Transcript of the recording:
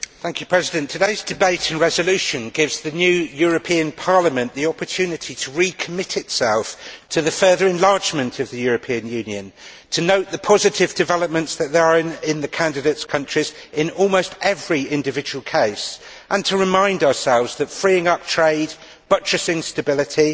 Madam President, today's debate and resolution gives the new European Parliament the opportunity to recommit itself to the further enlargement of the European Union, to note the positive developments that there are in the candidate countries, in almost every individual case, and to remind ourselves that freeing up trade, buttressing stability,